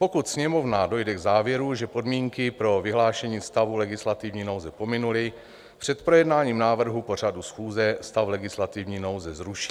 Pokud Sněmovna dojde k závěru, že podmínky pro vyhlášení stavu legislativní nouze pominuly, před projednáním návrhu pořadu schůze stav legislativní nouze zruší.